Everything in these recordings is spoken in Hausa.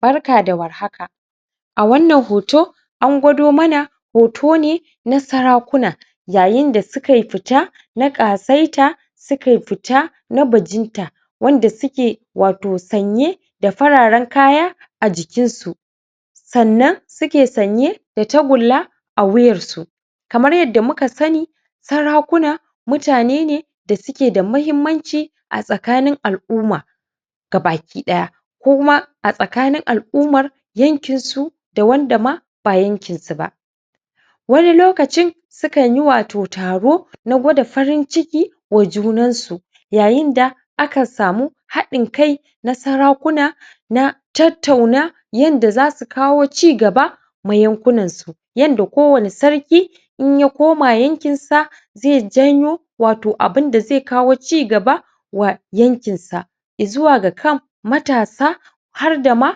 Barka da war haka! A wannan hoto an gwado mana hoto ne na sarakuna yayin da sukai fita na ƙasaita, sukai fita na bajinta wanda suke wato sanye da fararen kaya a jikinsu. Sannan suke sanye da tagulla a wuyarsu. Kamar yadda muka sani, sarakuna mutane ne da suke da muhimmanci a tsakanin al'uma gabaki ɗaya. Ko kuma a tsakanin al'umar yankinsu da wanda ma ba yankinsu ba. Wani lokacin, sukan yi wato taro na gwada farin ciki wa junansu yayin da akan samu haɗin kai na sarakuna na tattauna yanda za su kawo cigaba ma yankunansu, yanda kowane sarki in ya koma yankinsa zai janyo wato abin da zai kawo cigaba wa yankinsa i zuwa ga kan matasa har da ma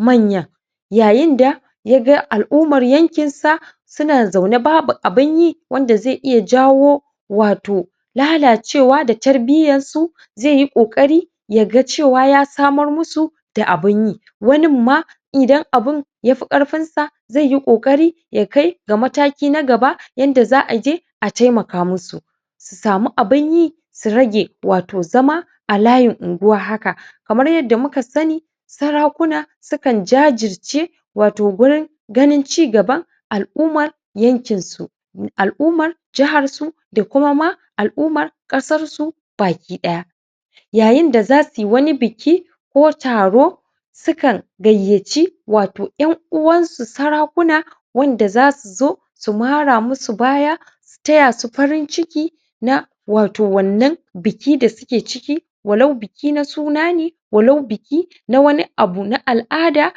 manyan. Yayin da ya ga al'umar yankinsa suna zaune babu abin yi wanda zai iya jawo wato lalacewa da tarbiyyarsu zai yi ƙoƙari ya cewa ya samar musu da abin yi. Wanin ma idan abin ya fi ƙarfinsa zai yi ƙoƙari ya kai ga mataki na gaba yanda za a je a taimaka musu, su samu abin yi, su rage wato zama a layin unguwa haka. Kamar yadda muka sani, sarakuna sukan jajirce wato gurin cigaban al'umar yankinsu, al'umar jiharsu da kuma ma al'umar ƙasarsu baki ɗaya. Yayin da za su yi wani biki ko taro, sukan gayyaci wato ƴan uwansu sarakuna wanda za su zo su mara musu baya su taya su farin ciki na wato wannan biki da suke ciki, walau biki na suna ne, walau biki na wani abu na al'ada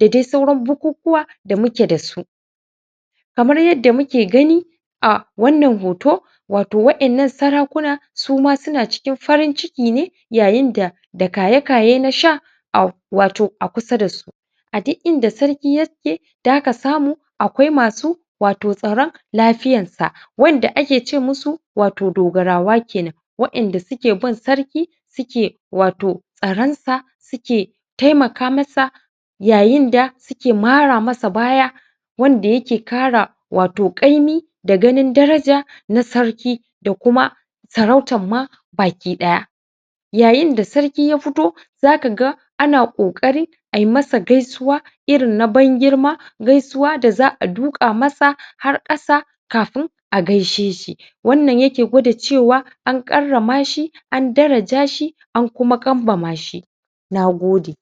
da dai sauran bukukuwa da muke da su. Kamar yadda muke gani a wannan hoto wato waƴannan sarakuna su ma suna cikin farin ciki ne yayin da da kaye-kaye na sha a wato a kusa da su A duk inda sarki yake, da ka samu akwai masu wato tsaron lafiyansa wanda ake ce musu wato dogarawa ke nan, waƴanda suke bin sarki, suke wato tsaronsa, suke taimaka masa yayin da ake mara masa baya wanda yake ƙara wato ƙaimi da ganin daraja na sarki da kuma sarautan ma baki ɗaya. Yayin da sarki ya fito, za ka ga ana ƙoƙarin a yi masa gaisuwa irin na ban-girma, gaisuwa da za a duƙa masa har ƙasa kafin a gaishe shi. Wannna yake gwada cewa an karrama shi, an daraja shi, an kuma kambama shi. Na gode.